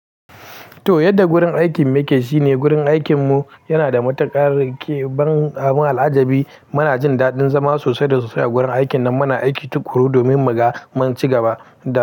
To, yadda gurin aikin mu yake shine gurin aikin mu yana da matuƙar ke ban abun al'ajabi. Muna jin daɗin zama sosai da sosai a gurin aikin nan. Muna aiki tuƙuru domin mu ga mun ci gaba da.